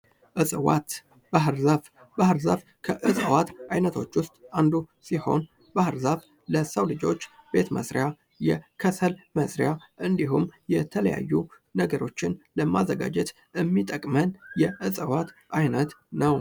እፅዋት ፦ ባህር ዛፍ ፦ ባህር ዛፍ ከእፅዋት አይነቶች ውስጥ አንዱ ሲሆን ባህር ዛፍ ለሰው ልጆች ቤት መስሪያ ፣ የከሰል መስሪያ እንዲሁም የተለያዩ ነገሮችን ለማዘጋጀት የሚጠቅመን የእፅዋት አይነት ነው ።